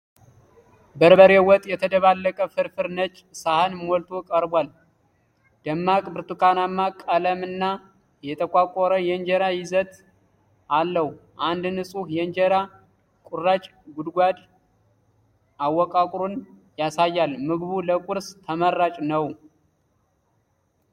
በርበሬ ወጥ የተደባለቀ ፍርፍር ነጭ ሳህን ሞልቶ ቀርቧል። ደማቅ ብርቱካናማ ቀለምና የተቆራረጠ የእንጀራ ይዘት አለው። አንድ ንፁህ የእንጀራ ቁራጭ የጉድጓድ አወቃቀሩን ያሳያል። ምግቡ ለቁርስ ተመራጭ ነው።